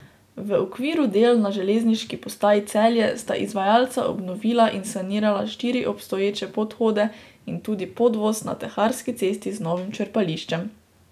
V okviru del na železniški postaji Celje sta izvajalca obnovila in sanirala štiri obstoječe podhode in tudi podvoz na Teharski cesti z novim črpališčem.